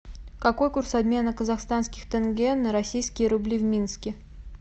какой курс обмена казахстанских тенге на российские рубли в минске